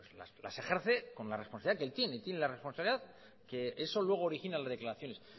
las ejerce con la responsabilidad que él tiene él tiene la responsabilidad que eso luego origina en las declaraciones